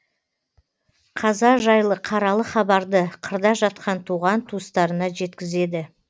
қаза жайлы қаралы хабарды қырда жатқан туған туыстарына жеткізеді